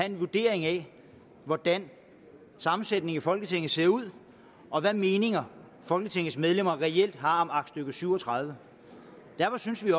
en vurdering af hvordan sammensætningen i folketinget ser ud og hvilke meninger folketingets medlemmer reelt har om aktstykke syv og tredive derfor synes vi